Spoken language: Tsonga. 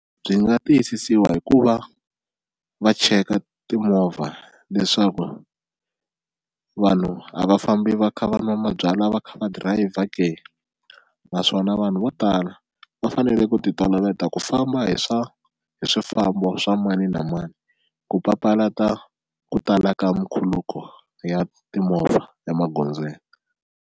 Byi nga tiyisisiwa hi ku va va cheka timovha leswaku vanhu a va fambi va kha va nwa mabyalwa va kha va dirayivha ke naswona vanhu vo tala va fanele ku ti toloveta ku famba hi swa hi swifambo swa mani na mani ku papalata ku tala ka nkhuluko ya timovha emagondzweni.